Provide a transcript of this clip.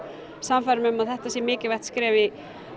sannfærir mig um að þetta sé mikilvægt skref í